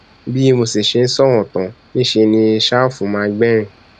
bí mo sì ṣe sọrọ tán níṣẹ ni ṣàfù má gbẹrín